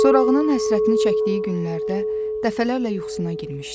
Sorağının həsrətini çəkdiyi günlərdə dəfələrlə yuxusuna girmişdi.